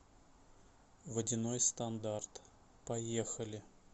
водяной стандарт поехали